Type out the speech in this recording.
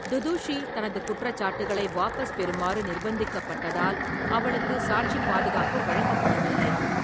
துதுஷி தனது குற்றச்சாட்டுகளை வாபஸ் பெறுமாறு நிர்ப்பந்திக்கப்பட்டதால், அவளுக்கு சாட்சிப் பாதுகாப்பு வழங்கப்படவில்லை.